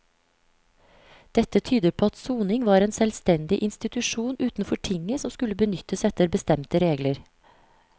Dette tyder på at soning var en selvstendig institusjon utenfor tinget som skulle benyttes etter bestemte regler.